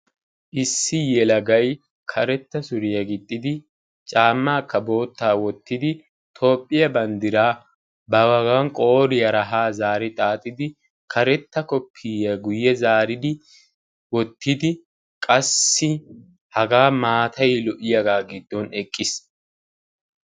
Issi yelagay karetta suriya gixxidi caammaakka boottaa wottidi toophphiya banddiraa baagan qooriyara haa zaari xaaxidi karetta koppiyiya guyye zaaridi wottidi qassi hagaa maatay lo''iyagaa giddon eqqiis.